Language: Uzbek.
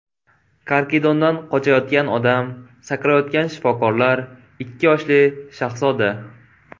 Karkidondan qochayotgan odam, sakrayotgan shifokorlar, ikki yoshli shahzoda.